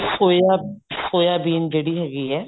ਸੋਇਆ soybean ਜਿਹੜੀ ਹੈਗੀ ਹੈ